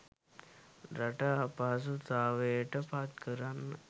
රට අපහසුතාවයට පත්කරන්න